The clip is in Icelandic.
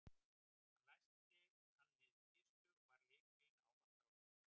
Haminn læsti hann niður í kistu og bar lykilinn ávallt á sér.